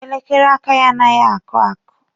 Elekere aka ya anaghị akụ akụ.